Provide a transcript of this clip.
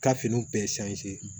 Ka finiw bɛɛ